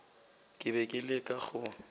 ke be ke leka go